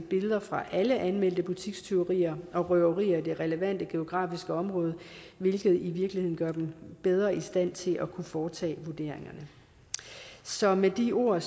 billeder fra alle anmeldte butikstyverier og røverier i det relevante geografiske område hvilket i virkeligheden gør dem bedre i stand til at kunne foretage vurderingerne så med de ord